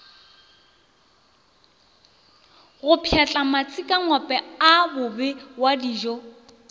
go pšhatla matsikangope a bobewadijo